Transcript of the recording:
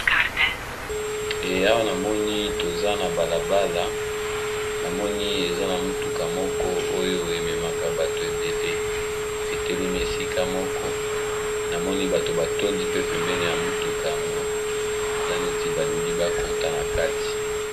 Awa na moni toza na balabala na moni eza na mutuka moko oyo e memaka bato ebele e telemi esika moko na moni bato ba tondi pe pembeni ya mutuka yango eza neti ba lingi ba kota na kati .